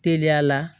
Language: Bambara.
Teliya la